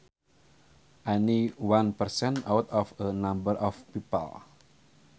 Any one person out of a number of people